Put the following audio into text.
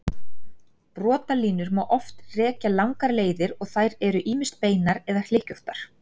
Brotalínur má oft rekja langar leiðir og eru þær ýmist beinar eða hlykkjóttar.